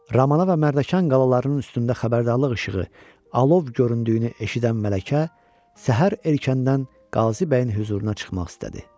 Ramana və Mərdəkan qalalarının üstündə xəbərdarlıq işığı alov göründüyünü eşidən Mələkə səhər erkəndən Qazi bəyin hüzuruna çıxmaq istədi.